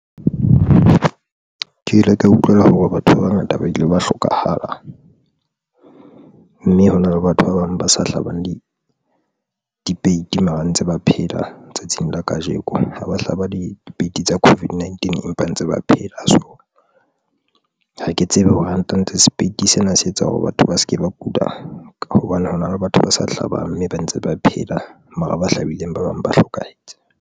Ke ile ka utlwela hore batho ba bangata ba ile ba hlokahala, mme hona le batho ba bang ba sa hlabang dipeiti mara ntse ba phela tsatsing la kajeko, ha ba hlaba dipeiti tsa COVID-19 empa ntse ba phela. So ha ke tsebe hore ranta ntse sepeiti sena se etsa hore batho ba se ke ba kula ka hobane hona le batho ba sa hlabang mme ba ntse ba phela mara ba hlabileng ba bang ba hlokahetse.